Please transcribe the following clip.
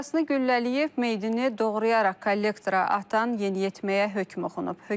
Atasını güllələyib meyidini doğrayaraq kollektora atan yeniyetməyə hökm oxunub.